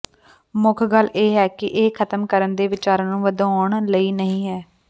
ਮੁੱਖ ਗੱਲ ਇਹ ਹੈ ਕਿ ਇਹ ਖ਼ਤਮ ਕਰਨ ਦੇ ਵਿਚਾਰਾਂ ਨੂੰ ਵਧਾਉਣ ਲਈ ਨਹੀਂ ਹੈ